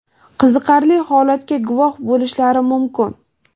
qiziqarli holatga guvoh bo‘lishlari mumkin.